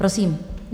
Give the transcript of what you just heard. Prosím.